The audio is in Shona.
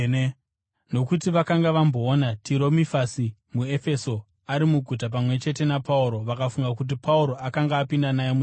(Nokuti vakanga vamboona Tirofimasi muEfeso ari muguta pamwe chete naPauro vakafunga kuti Pauro akanga apinda naye mutemberi.)